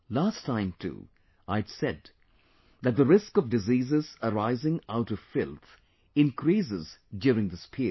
Last time too, I had said that the risk of diseases arising out of filth increases during this period